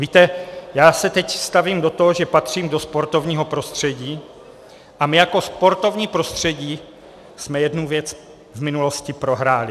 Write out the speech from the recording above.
Víte, já se teď stavím do toho, že patřím do sportovního prostředí, a my jako sportovní prostředí jsme jednu věc v minulosti prohráli.